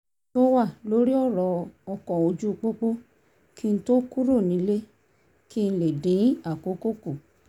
tó wà lórí ọ̀rọ̀ ọkọ̀ ójú pópó kí n tó kúrò nílé kí n lè dín àkókò kù